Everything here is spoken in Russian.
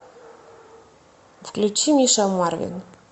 включи миша марвин